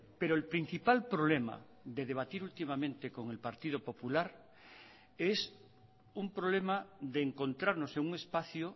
pero el principal problema de debatir últimamente con el partido popular es un problema de encontrarnos en un espacio